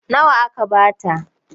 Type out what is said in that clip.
Nawa aka ba ta?